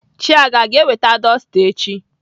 Chiaga aga eweta dọsta echi?